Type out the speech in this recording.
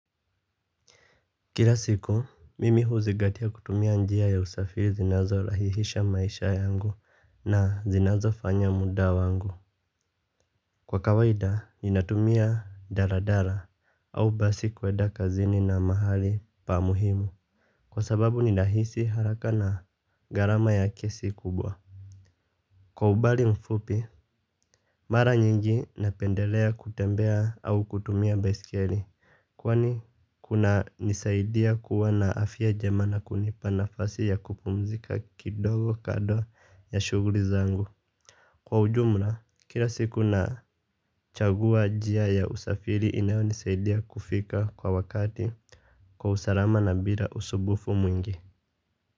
Kila siku mimi huzingatia kutumia njia ya usafiri zinazo rahihisha maisha yangu na zinazofanya muda wangu. Kwa kawaida ninatumia daladala au basi kuenda kazini na mahali pa muhimu. Kwa sababu ninahisi haraka na gharama ya kesi kubwa. Kwa umbali mfupi mara nyingi napendelea kutembea au kutumia baisikeli. Kwani kuna nisaidia kuwa na afya jema na kunipa nafasi ya kupumzika kidogo kando ya shuguli zangu. Kwa ujumla, kila siku na chagua njia ya usafiri inayonisaidia kufika kwa wakati kwa usalama na bila usumbufu mwingi.